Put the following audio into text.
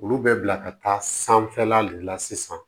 Olu bɛ bila ka taa sanfɛla de la sisan